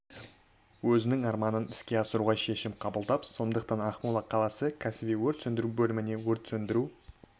өзінің армандарын іске асыруға шешім қабылдап сондықтанда ақмола қаласы кәсіби өрт сөндіру бөліміне өрт сөндіру